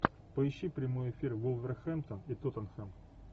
поищи прямой эфир вулверхэмптон и тоттенхэм